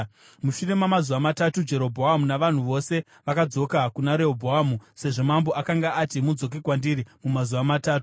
Mushure mamazuva matatu Jerobhoamu navanhu vose vakadzoka kuna Rehobhoamu, sezvo mambo akanga ati, “Mudzoke kwandiri mumazuva matatu.”